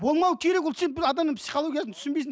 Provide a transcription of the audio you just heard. болмауы керек ол сен адамның психологиясын түсінбейсіңдер